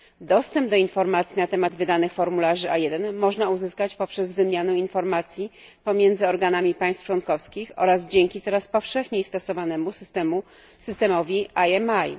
Dostęp do informacji na temat wydanych formularzy A1 można uzyskać poprzez wymianę informacji pomiędzy organami państw członkowskich oraz dzięki coraz powszechniej stosowanemu systemowi IMI.